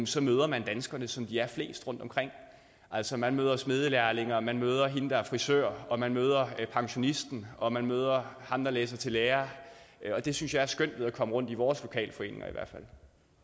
så møder man danskerne som de er flest rundt omkring altså man møder smedelærlingen og man møder hende der er frisør og man møder pensionisten og man møder ham der læser til lærer og det synes jeg er skønt ved at komme rundt i vores lokalforeninger i hvert fald